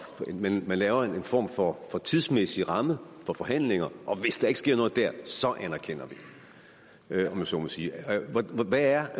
man laver en form for tidsmæssig ramme for forhandlinger og hvis der ikke sker noget der anerkender vi om jeg så må sige hvad er